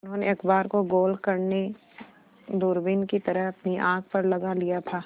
उन्होंने अखबार को गोल करने दूरबीन की तरह अपनी आँख पर लगा लिया था